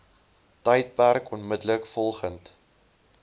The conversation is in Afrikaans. tydperk onmiddellik volgend